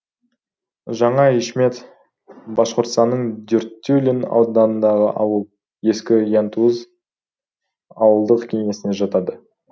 жаңа ишмет башқұртстанның дюртюлин ауданындағы ауыл ескі янтуз ауылдық кеңесіне жатады